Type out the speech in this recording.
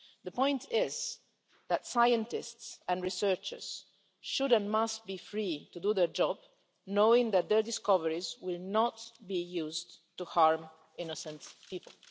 The point is that scientists and researchers should and must be free to do their job, knowing that their discoveries will not be used to harm innocent people.